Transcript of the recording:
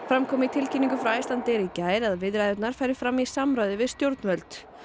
fram kom í tilkynningu frá Icelandair í gær að viðræðurnar fari fram í samráði við stjórnvöld